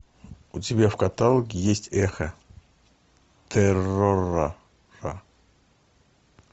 у тебя в каталоге есть эхо террора